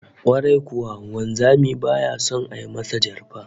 Kwarai kuwa, wanzami baya son a masa jarfa